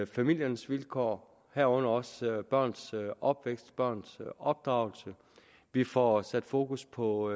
familiernes vilkår herunder også børns opvækst børns opdragelse vi får sat fokus på